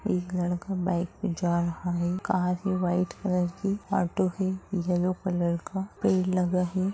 एक लड़का बाइक पे जा रहा है कार है वाइट कलर की ऑटो है येल्लो कलर का भीड़ लगा है।